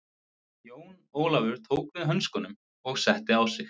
Jón Ólafur tók við hönskunum og setti á sig.